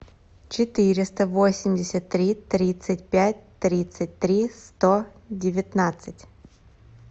четыреста восемьдесят три тридцать пять тридцать три сто девятнадцать